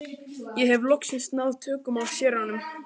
Ég hef loks náð tökum á séranum.